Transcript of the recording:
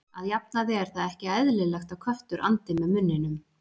að jafnaði er það ekki eðlilegt að köttur andi með munninum